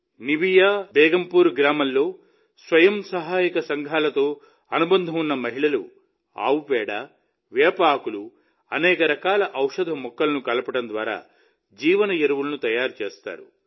Nivea Begumpur గ్రామంలో స్వయం సహాయక సంఘాలతో అనుబంధం ఉన్న మహిళలు ఆవు పేడ వేప ఆకులు అనేక రకాల ఔషధ మొక్కలను కలపడం ద్వారా జీవ ఎరువులను తయారు చేస్తారు